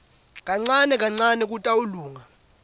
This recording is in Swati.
kancane kancane kutawulunga